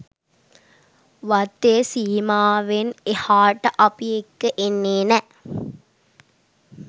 වත්තේ සීමාවෙන් එහාට අපි එක්ක එන්නේ නෑ.